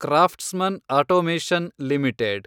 craftsman automation limited